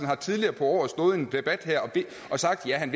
har tidligere på året stået i en debat her og sagt at han